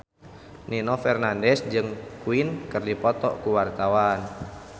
Nino Fernandez jeung Queen keur dipoto ku wartawan